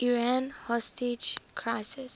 iran hostage crisis